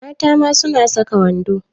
Mata ma suna saka wando.